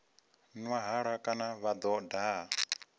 nwa halwa kana vho daha